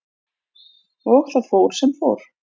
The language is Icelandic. Og það fór sem fór.